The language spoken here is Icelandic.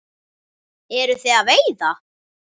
Eruð þið að veiða?